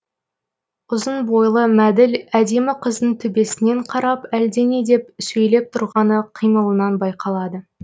ұзын бойлы мәділ әдемі қыздың төбесінен қарап әлдене деп сөйлеп тұрғаны қимылынан байқалады